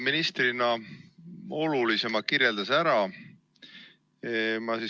Minister Jaak Aab kirjeldas olulisema ära.